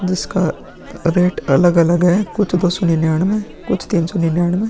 जिसका रेट अलग-अलग है कुछ दो सौ निन्यानवें कुछ तीन सौ निन्यानवे।